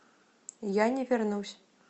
я не вернусь